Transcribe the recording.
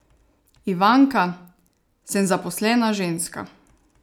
Ivanka: "Sem zaposlena ženska.